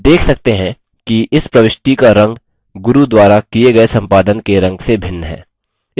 हम देख सकते हैं कि इस प्रविष्टि का रंग गुरू द्वारा किये गये संपादन के रंग से भिन्न है